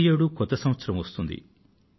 ప్రతి ఏడూ కొత్త సంవత్సరం వస్తుంది